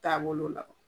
Taabolo la